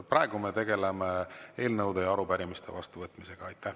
Praegu me tegeleme eelnõude ja arupärimiste vastuvõtmisega.